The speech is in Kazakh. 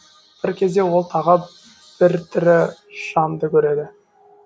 бір кезде ол тағы бір тірі жанды көреді